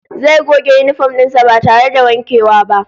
Zai goge yinifom din sa ba tare da wankewa ba